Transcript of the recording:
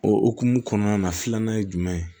O hukumu kɔnɔna na filanan ye jumɛn ye